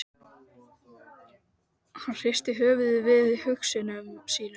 Hann hristi höfuðið við hugsunum sínum.